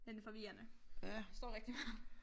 Men forvirrende. Der står rigtig meget